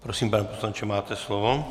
Prosím, pane poslanče, máte slovo.